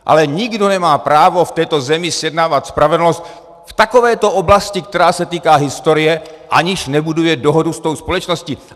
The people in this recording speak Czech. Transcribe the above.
Ale nikdo nemá právo v této zemi zjednávat spravedlnost v takovéto oblasti, která se týká historie, aniž nebuduje dohodu s tou společností.